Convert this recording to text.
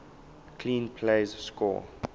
clean plays score